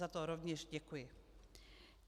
Za to rovněž děkuji.